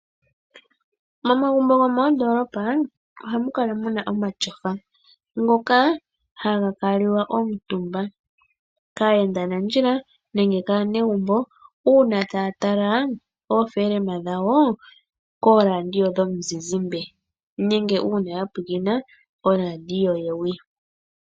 Momagumbo gomoondoolopa ohamu kala muna omatyofa ngoka haga kuutumbwa kaayendanandjila nenge kaanegumbo uuna taya tala oopolohalama dhawo kooradio dhomizizimbe nenge uuna ya pwilikina koradio yewi.